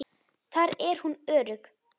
Þar er hún örugg.